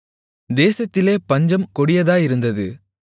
தேசத்திலே பஞ்சம் கொடிதாயிருந்தது